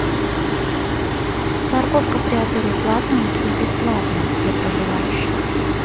парковка при отеле платная или бесплатная для проживающих